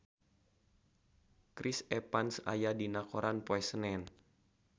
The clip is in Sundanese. Chris Evans aya dina koran poe Senen